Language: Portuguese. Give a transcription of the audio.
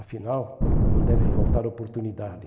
Afinal, não deve faltar oportunidade.